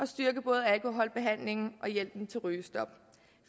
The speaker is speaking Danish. styrke både alkoholbehandlingen og hjælpen til rygestop